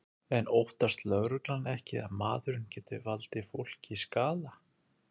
En óttast lögregla ekki að maðurinn geti valdið fólki skaða?